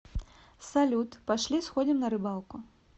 салют пошли сходим на рыбалку